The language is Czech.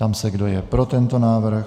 Ptám se, kdo je pro tento návrh.